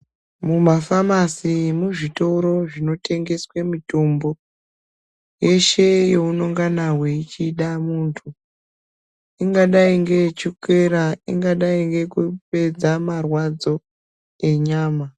Mumafamasi muzvitoro zvinotengeswa mitombo yeshe yeunenge uchida muntu ingadai ngeyechukera ingadai neyekupedza marwadzo enyama